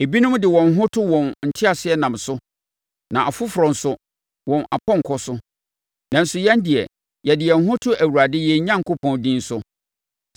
Ebinom de wɔn ho to wɔn nteaseɛnam so na afoforɔ nso, wɔn apɔnkɔ so, nanso yɛn deɛ, yɛde yɛn ho to Awurade yɛn Onyankopɔn din so.